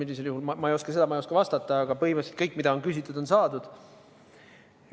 Täpselt ma ei oska vastata, aga põhimõtteliselt kõik, mida on küsitud, on saadud.